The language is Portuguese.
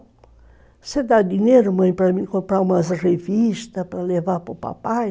Você dá dinheiro, mãe, para eu comprar umas revistas para levar para o papai?